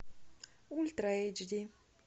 ультра эйч ди